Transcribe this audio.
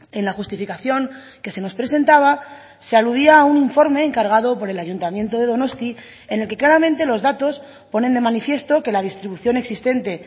en la justificación que se nos presentaba se aludía a un informe encargado por el ayuntamiento de donosti en el que claramente los datos ponen de manifiesto que la distribución existente